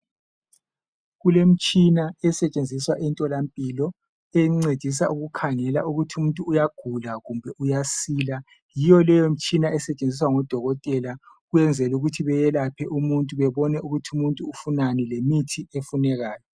Kulemitshina esentshenziswa emtholampilo encedisa ukukhangela ukuthi umuntu uyagula kumbe uyasila. Yiyo le mitshina esentshenziswa ngodokotela kwenzela ukuthi bebone ukuthi umuntu ufunani lemithi ofunekayo.